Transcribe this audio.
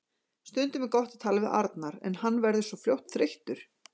Stundum er gott að tala við Arnar en hann verður svo fljótt þreyttur.